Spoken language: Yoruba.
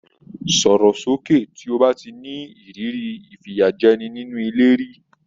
Sọ̀rò sókè! tí o bá ti ní ìrírí ìfìyàjẹni nínú ilé rí.